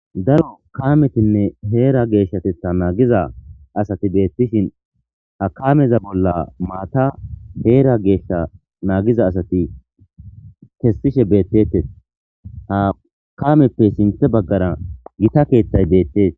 Daro kametinne heera geeshshatetha naagiza asati beettishin ha kameza bolla maata heera geeshsha naagiza asati kessishe beettetes ha kameppe sinthe baggara gita keeththay deettees.